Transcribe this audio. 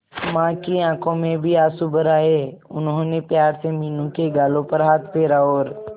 मां की आंखों में भी आंसू भर आए उन्होंने प्यार से मीनू के गालों पर हाथ फेरा और